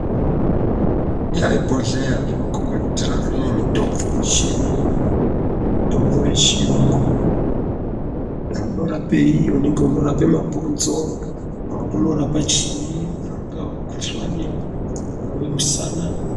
Ibhodhleya rinokhombe kuti ranga rine mutombo wechiyungu. Mutombo wechiyungu ,dai unorapei, unorapa mabhonzo dai unorapa chiini, dai ungava mukhuhlani kana musana.